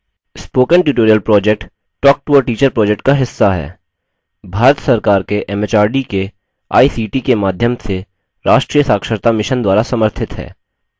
spoken tutorial project talktoateacher project का हिस्सा है यह भारत सरकार के एमएचआरडी के आईसीटी के माध्यम से राष्ट्रीय साक्षरता mission द्वारा समर्थित है